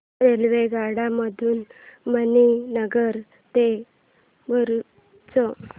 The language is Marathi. रेल्वेगाड्यां मधून मणीनगर ते भरुच